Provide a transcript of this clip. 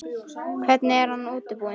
Hvernig er hann útbúinn?